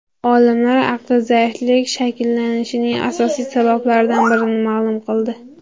Olimlar aqli zaiflik shakllanishining asosiy sabablaridan birini ma’lum qildi.